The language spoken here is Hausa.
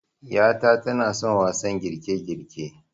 'yata tanason wasan girkegirke